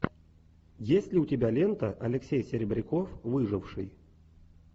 есть ли у тебя лента алексей серебряков выживший